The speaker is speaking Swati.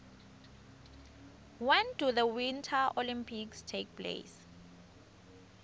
when do the winter olympics take place